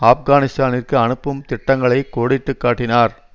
ஆப்கானிஸ்தானிற்கு அனுப்பும் திட்டங்களை கோடிட்டு காட்டினார்